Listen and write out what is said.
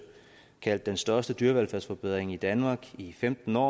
kaldte den største dyrevelfærdsforbedring i danmark i femten år